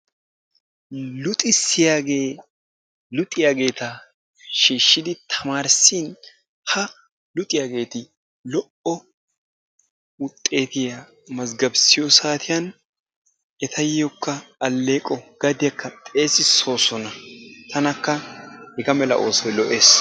Luxissiyaagee luxiyaageeta shiishidi tamaarissin ha luxiyageeti lo"o wuxxeetiya mazzgabbissiyo saatiyan etayokka aleeqo gadiyakka xeessissoosona. Tanakka hega mala oosoy lo'ees.